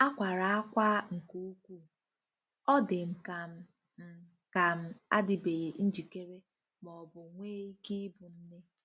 Akwara akwaa nke ukwu; Ọ dị m ka m̀ m ka m̀ adịbeghị njikere ma ọ bụ nwee ike ịbụ nne.